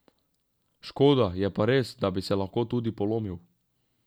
Škoda, je pa res, da bi se pa lahko tudi polomil.